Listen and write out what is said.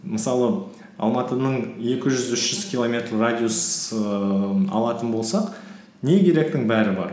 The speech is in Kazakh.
мысалы алматының екі жүз үш жүз километр радиусын алатын болсақ не керектің бәрі бар